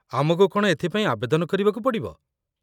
ଆମକୁ କ'ଣ ଏଥିପାଇଁ ଆବେଦନ କରିବାକୁ ପଡ଼ିବ?